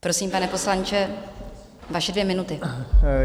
Prosím, pane poslanče, vaše dvě minuty.